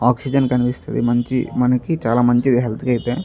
Oxygen కనిపిస్తది మంచి మనకి చాలా మంచి హెల్త్ కి అయితే.